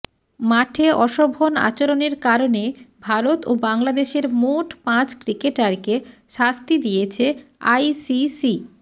মাঠে অশোভন আচরণের কারণে ভারত ও বাংলাদেশের মোট পাঁচ ক্রিকেটারকে শাস্তি দিয়েছে আইসিসি